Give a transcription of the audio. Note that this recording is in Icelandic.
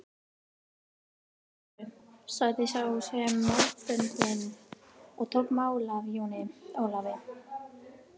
Drífum þá í þessu, sagði sá með málböndin og tók mál af Jóni Ólafi.